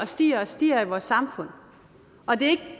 stiger og stiger i vores samfund og det